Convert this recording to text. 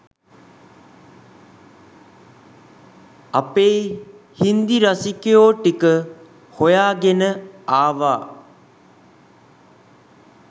අපේ හින්දි රසිකයෝ ටික හොයාගෙන ආවා.